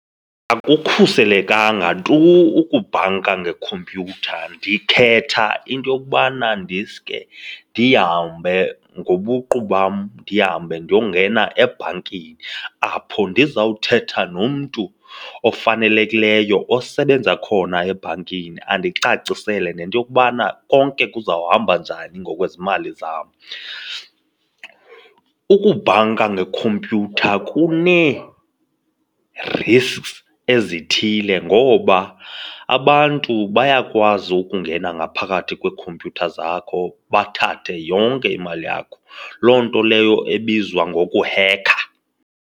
Akukhuselekanga tu ukubhanka ngekhompyutha. Ndikhetha into yokubana ndiske ndihambe ngobuqu bam ndihambe ndiyongena ebhankini apho ndizawuthetha nomntu ofanelekileyo osebenza khona ebhankini andicacisele nento yokubana konke kuzawuhamba njani ngokwezimali zam. Ukubhanka ngekhompyutha kunee-risks ezithile ngoba abantu bayakwazi ukungena ngaphakathi kwiikhompyutha zakho bathathe yonke imali yakho, loo nto leyo ebizwa ngokuheka.